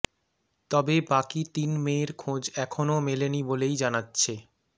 তবে বাকি তিন মেয়ের খোঁজ এখনও মেলেনি বলেই জানাচ্ছে